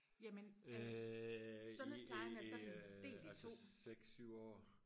jamen øh sundhedsplejen er sådan delt i to